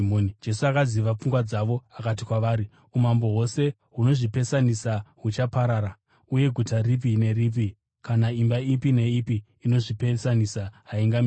Jesu akaziva pfungwa dzavo akati kwavari, “Umambo hwose hunozvipesanisa huchaparara, uye guta ripi neripi kana imba ipi neipi inozvipesanisa haingamiri.